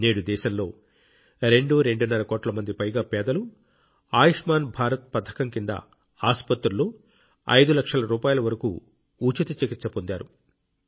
నేడు దేశంలో రెండు రెండున్నర కోట్ల మందికి పైగా పేదలు ఆయుష్మాన్ భారత్ పథకం కింద ఆసుపత్రుల్లో 5 లక్షల రూపాయల వరకు ఉచిత చికిత్స పొందారు